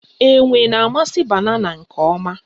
Enwe na-amasị banana nke ọma